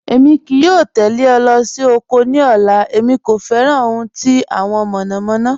Èmi kìí yọ̀ tẹlẹ̀ ọ̀ lọ́ sí oko ní ọ̀là, èmi kò fẹ́ran ohun tí awọn mọ̀nọ̀mọ̀nọ̀.